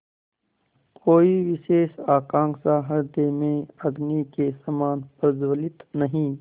कोई विशेष आकांक्षा हृदय में अग्नि के समान प्रज्वलित नहीं